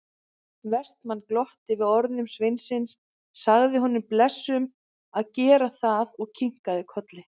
Vestmann glotti við orðum sveinsins, sagði honum blessuðum að gera það og kinkaði kolli.